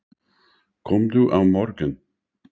Komdu á morgun.